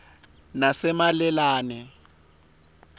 nasemalelane